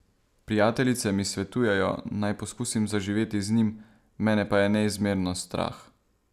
Prijateljice mi svetujejo, naj poskusim zaživeti z njim, mene pa je neizmerno strah.